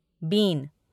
been